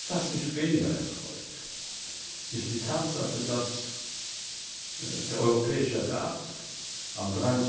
Was mich weniger erfreut, ist die Tatsache, dass der Europäische Rat am